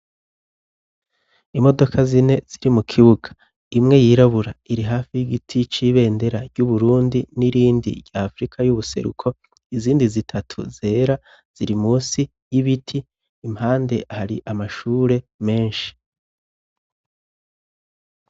Imodoka zine ziri mu kibuga, imwe yirabura iri hafi y'igiti cibendera ry'uburundi n'irindi ry'afrika y'ubuseruko izindi zitatu zera ziri musi y'ibiti impande hari amashure menshi.